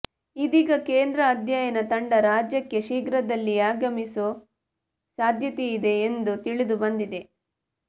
ಇದೀಗ ಕೇಂದ್ರ ಅಧ್ಯಯನ ತಂಡ ರಾಜ್ಯಕ್ಕೆ ಶೀಘ್ರದಲ್ಲಿಯೇ ಆಗಮಿಸೋ ಸಾಧ್ಯತೆಯಿದೆ ಎಂದು ತಿಳಿದು ಬಂದಿದೆ